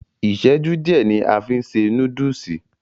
Iṣẹju diẹ ni a fí n se núdùùsì.